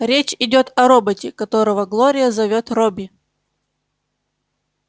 речь идёт о роботе которого глория зовёт робби